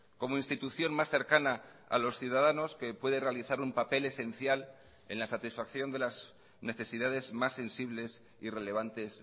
como institución más cercana a los ciudadanos que puede realizar un papel esencial en la satisfacción de las necesidades más sensibles y relevantes